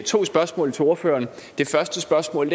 to spørgsmål til ordføreren det første spørgsmål